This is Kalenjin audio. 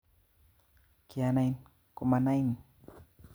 Kianai komanain